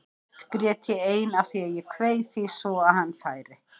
Oft grét ég ein af því að ég kveið því svo að hann færi.